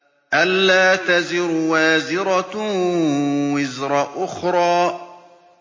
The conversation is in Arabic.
أَلَّا تَزِرُ وَازِرَةٌ وِزْرَ أُخْرَىٰ